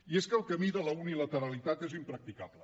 i és que el camí de la unilateralitat és impracticable